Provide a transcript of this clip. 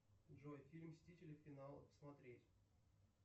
джой фильм мстители финал смотреть